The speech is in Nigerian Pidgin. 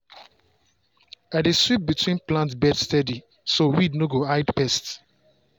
i dey sweep between plant bed steady so weed no go hide pest.